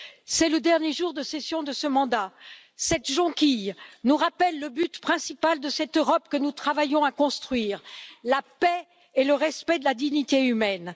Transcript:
C'est le dernier jour de session de ce mandat, cette jonquille nous rappelle le but principal de cette Europe que nous travaillons à construire la paix et le respect de la dignité humaine.